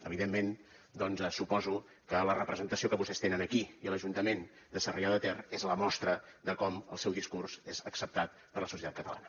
evidentment doncs suposo que la representació que vostès tenen aquí i a l’ajuntament de sarrià de ter és la mostra de com el seu discurs és acceptat per la societat catalana